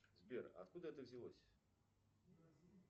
сбер откуда это взялось